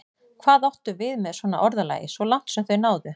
Hvað áttu við með svona orðalagi: svo langt sem þau náðu?